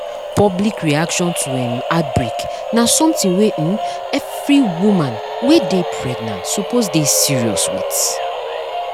public reaction to um outbreak na something wey um every woman wey dey pregnant suppose dey serious with